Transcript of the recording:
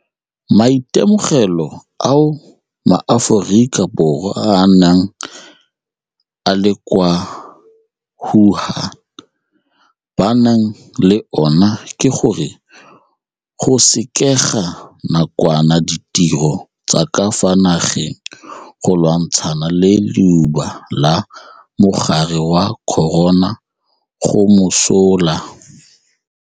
Maitemogelo ao maAforika Borwa a a neng a le kwa Wuhan ba nang le ona ke gore go sekega nakwana ditiro tsa ka fa nageng go lwantshana le leuba la mogare wa corona go mosola.